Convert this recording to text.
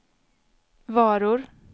varor